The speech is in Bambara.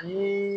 Ni